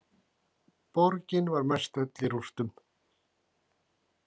Borgin var mestöll í rústum.